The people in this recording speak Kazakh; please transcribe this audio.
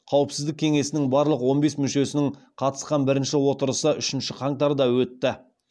қауіпсіздік кеңесінің барлық он бес мүшесінің қатысқан бірінші отырысы үшінші қаңтарда өтті